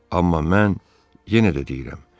Amma mən yenə də deyirəm.